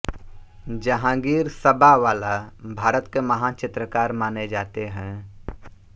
जहांगीर सबावाला भारत के महान चित्रकार माने जाते हैं